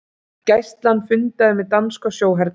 Gæslan fundaði með danska sjóhernum